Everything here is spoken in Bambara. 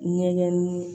Ɲɛgɛnni